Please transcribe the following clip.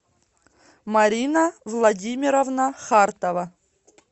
марина владимировна хартова